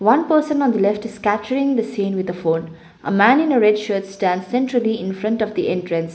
one person on the left is capturing the scene with the phone a man in a red shirt stand centrally infront of the entrance.